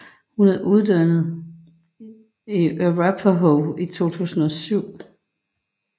Hun er uddannet fra Arapahoe i 2007